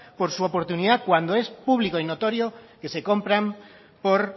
por su oportunidad cuando es público y notorio que se compran por